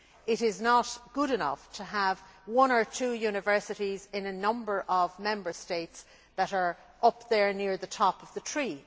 It is not good enough to have one or two universities in a number of Member States that are up there near the top of the tree.